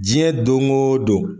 Diɲɛ doŋoo don